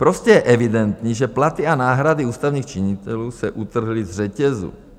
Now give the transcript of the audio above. Prostě je evidentní, že platy a náhrady ústavních činitelů se utrhly z řetězu.